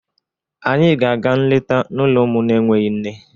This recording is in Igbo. Anyị ga-aga nleta n'ụlọ ụmụ na-enweghị nne.